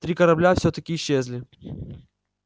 три корабля всё-таки исчезли